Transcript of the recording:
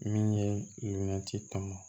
Min ye lumina tɔn